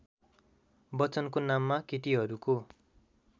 बच्चनको नाममा केटीहरूको